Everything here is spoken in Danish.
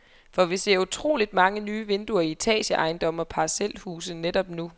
For vi ser utroligt mange nye vinduer i etageejendomme og parcelhuse netop nu.